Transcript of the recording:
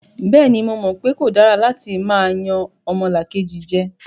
Bẹ́ẹ̀ni, mo mọ̀ pe kò dára látí máa yan ọmọlàkejì jẹ.